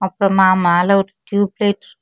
மா மேல ஒரு டியூப் லைட் .